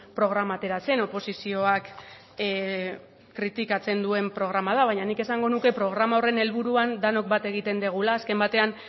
programa atera zen oposizioak kritikatzen duen programa da baina nik esango nuke programa horren helburuan denok bat egiten dugula azken batean